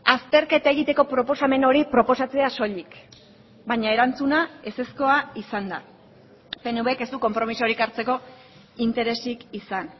azterketa egiteko proposamen hori proposatzea soilik baina erantzuna ezezkoa izan da pnvk ez du konpromisorik hartzeko interesik izan